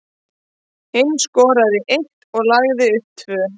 Hinn skoraði eitt og lagði upp tvö.